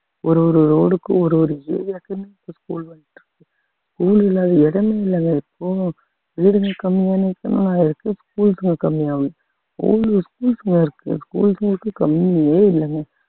ஒரு ஒரு road க்கும் ஒரு ஒரு area க்குமே இப்போ school வந்துட்டு இருக்கு school இல்லாத இடமே இல்லைங்க இப்போ வீடுங்க கம்மியான இடத்துல இருக்கு schools ங்க கம்மியா~ அவ்வளோ schools ங்க இருக்கு schools ங்களுக்கு கம்மியே இல்லைங்க